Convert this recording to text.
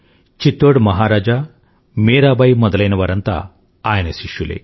చిత్తోడ్మహారాజా రాణీలనుమీరాబాయిమొదలైనవారంతాఆయనశిష్యులే